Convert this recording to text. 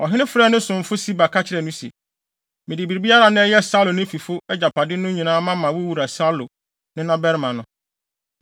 Ɔhene frɛɛ ne somfo Siba, ka kyerɛɛ no se, “Mede biribiara a na ɛyɛ Saulo ne ne fifo agyapade no nyinaa ama wo wura Saulo nenabarima no.